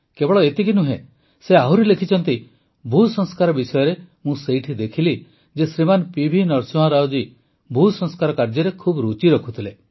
କେବଳ ଏତିକି ନୁହେଁ ସେ ଆହୁରି ଲେଖିଛନ୍ତି ଭୂସଂସ୍କାର ବିଷୟରେ ମୁଁ ସେଇଠି ଦେଖିଲି ଯେ ଶ୍ରୀମାନ ପିଭି ନରସିଂହରାଓ ଜୀ ଭୂସଂସ୍କାର କାର୍ଯ୍ୟରେ ଖୁବ୍ ରୁଚି ରଖୁଥିଲେ